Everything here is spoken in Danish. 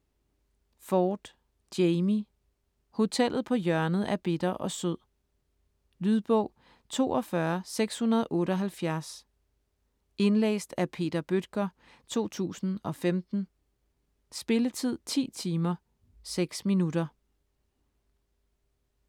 Ford, Jamie: Hotellet på hjørnet af bitter og sød Lydbog 42778 Indlæst af Peter Bøttger, 2015. Spilletid: 10 timer, 6 minutter.